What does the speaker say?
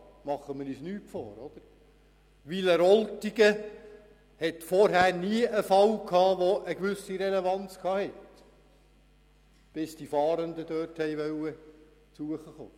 Machen wir uns nichts vor: Wileroltigen hat vorher nie einen Fall von einer gewissen Relevanz gehabt – bis die Fahrenden dorthin gehen wollten.